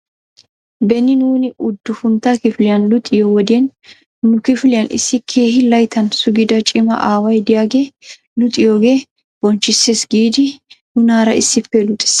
Beni nuuni uddufuntta kifiliyan luxxiyoo wodiyan nu kifiliyan issi keehi layttan sugida cima aaway diyaagee luxiyoogee bonchchisses giidi nunaara issippe luxxis.